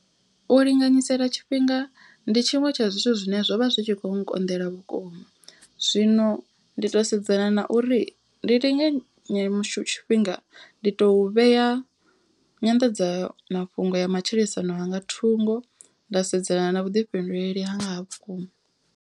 U linganyisela tshifhinga ndi tshiṅwe tsha zwithu zwine zwo vha zwi tshi kho nkonḓela vhukuma. Zwino ndi to sedzana na uri ndi linge mishu tshifhinga ndi to vhea nyanḓadzamafhungo ya matshilisano hanga thungo. Nda sedzana na vhuḓifhinduleli ha nga ha vhukuma.